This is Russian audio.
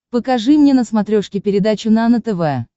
покажи мне на смотрешке передачу нано тв